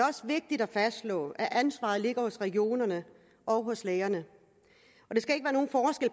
også vigtigt at fastslå at ansvaret ligger hos regionerne og hos lægerne